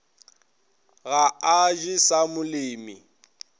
ga a je sa molemi